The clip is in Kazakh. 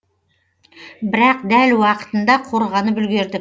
бірақ дәл уақытында қорғанып үлгердік